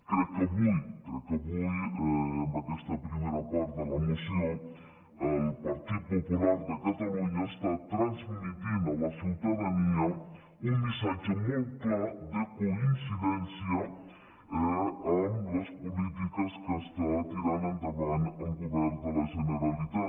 crec que avui amb aquesta primera part de la moció el partit popular de catalunya està transmetent a la ciutadania un missatge molt clar de coincidència amb les polítiques que està tirant endavant el govern de la generalitat